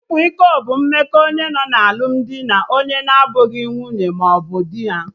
Ịkwa iko bụ mmekọ onye nọ na alụmdi na onye na abụghị nwunye mmaọbụ dị ha